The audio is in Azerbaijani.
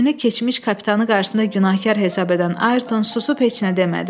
Özünü keçmiş kapitanı qarşısında günahkar hesab edən Ayerton susub heç nə demədi.